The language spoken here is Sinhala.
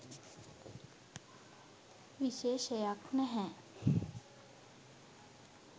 විශේෂයක් නැහැ.